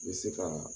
I bɛ se ka